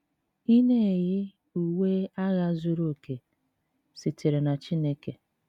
Ị na-eyi, uwe agha zuru oke sitere na Chineke